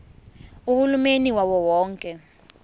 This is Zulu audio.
uhulumeni wawo wonke